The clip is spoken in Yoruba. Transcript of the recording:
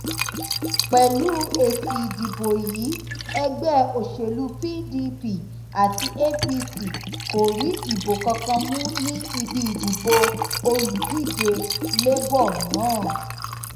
pẹlú èsì ìdìbò yìí ẹgbẹ òsèlú pdp àti apc kò rí ìbò kankan mú ní ibi ìdìbò olùdíje labour náà